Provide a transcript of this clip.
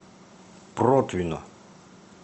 протвино